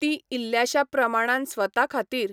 तीं इल्ल्याशा प्रमाणान स्वता खातीर